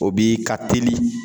O bi ka teli